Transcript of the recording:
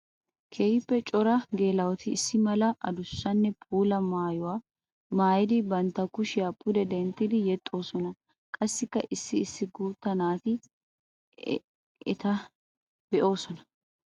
Keehippe cora geela'otti issi mala adussanne puula maayuwa maayiddi bantta kushiya pudde denttiddi yexxosonna. Qassikka issi issi guuta naati etta de'osonna.